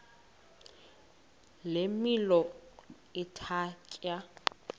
le milo ithatya